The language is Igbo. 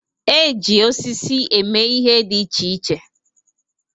E ji osisi eme ihe dị iche iche.